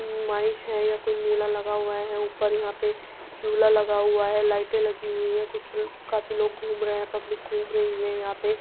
नुमाइश है या कोई मेला लगा हुआ है। ऊपर यहाँ पे झूला लगा हुआ है। लाइटे लगी हुई है। कुछ ल काफी लोग घूम रहें पब्लिक घूम रही है यहाँ पे --